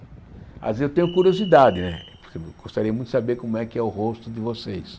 Às ve, eu tenho curiosidade né, porque eu gostaria muito de saber como é que é o rosto de vocês.